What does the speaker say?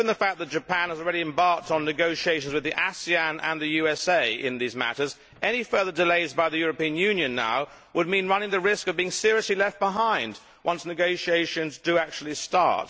So, given the fact that Japan has already embarked on negotiations with ASEAN and the USA in these matters, any further delays by the European Union now would mean running the risk of being seriously left behind once negotiations actually start.